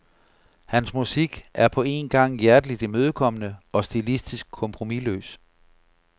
Hans musik er på en gang hjerteligt imødekommende og stilistisk kompromisløs.